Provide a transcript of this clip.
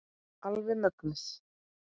Alveg mögnuð.